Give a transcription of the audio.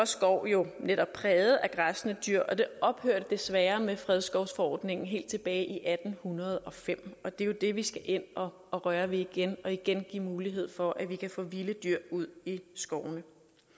skoven jo netop præget af græssende dyr det ophørte desværre med fredskovsforordningen helt tilbage i atten hundrede og fem og det er jo det vi skal ind og røre ved igen og igen give mulighed for at vi kan få vilde dyr ud i skovene